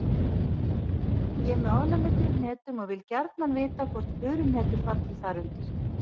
Ég er með ofnæmi fyrir hnetum og vil gjarnan vita hvort furuhnetur falli þar undir.